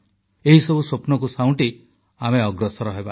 ଏହିସବୁ ସ୍ୱପ୍ନକୁ ସାଉଁଟି ଆମେ ଅଗ୍ରସର ହେବା